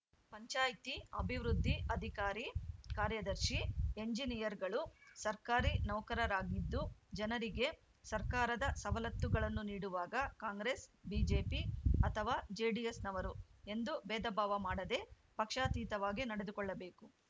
ಪಂಚಾಯ್ತಿ ಅಭಿವೃದ್ಧಿ ಅಧಿಕಾರಿ ಕಾರ್ಯದರ್ಶಿ ಎಂಜಿನಿಯರ್‌ಗಳು ಸರ್ಕಾರಿ ನೌಕರರರಾಗಿದ್ದು ಜನರಿಗೆ ಸರ್ಕಾರದ ಸವಲತ್ತುಗಳನ್ನು ನೀಡುವಾಗ ಕಾಂಗ್ರೆಸ್‌ ಬಿಜೆಪಿ ಅಥವಾ ಜೆಡಿಎಸ್‌ನವರು ಎಂದು ಬೇಧಭಾವ ಮಾಡದೆ ಪಕ್ಷಾತೀತವಾಗಿ ನಡೆದುಕೊಳ್ಳಬೇಕು